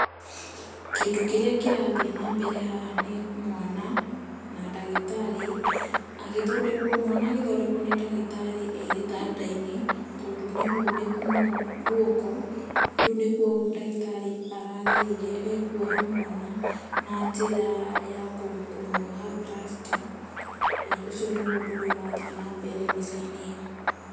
Kĩndu kĩrĩa kĩrathiĩ na mbere haha nĩ mwana na ndagĩtarĩ, agithondekwo, mwana agĩthondekwo egĩtanda-inĩ, tondũ ni muniku gwoko, rĩu nikuo ndagitari arageria ũrĩa ekuoha mwana, na njĩra ya kumwoha plaster. ĩĩ ũcio niguo ũndũ ũrĩa ũrathiĩ na mbere mbica-inĩ ĩyo.